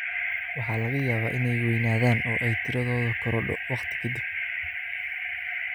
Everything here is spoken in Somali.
Waxa laga yaabaa inay weynaadaan oo ay tiradoodu korodho wakhti ka dib.